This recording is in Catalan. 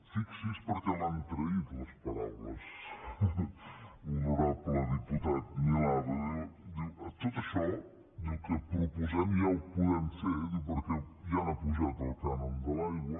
fixi’s hi perquè l’han traït les paraules honorable diputat milà perquè diu tot això que proposem ja ho podem fer diu perquè ja han apujat el cànon de l’aigua